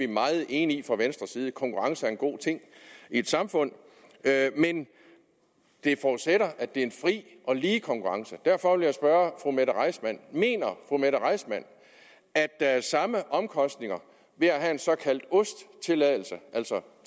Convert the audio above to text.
meget enige i at konkurrence er en god ting i et samfund men det forudsætter at det er en fri og lige konkurrence derfor vil jeg spørge fru mette reissmann mener fru mette reissmann at der er samme omkostninger ved at have en såkaldt ost tilladelse altså